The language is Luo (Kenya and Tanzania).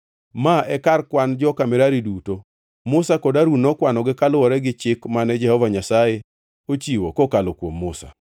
Ma e kar kwan joka Merari duto. Musa kod Harun nokwanogi kaluwore gi chik mane Jehova Nyasaye ochiwo kokalo kuom Musa.